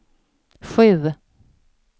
sju